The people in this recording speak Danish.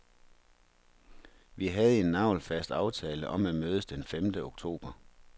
Vi havde en nagelfast aftale om at mødes den femte oktober.